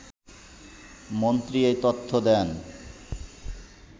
মন্ত্রী এই তথ্য দেন